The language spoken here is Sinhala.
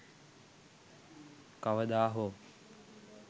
kawada ho